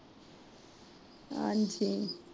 ਹਾਂਜੀ